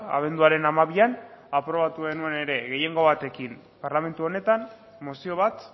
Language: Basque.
abenduaren hamabian aprobatu genuen ere gehiengo batekin parlamentu honetan mozio bat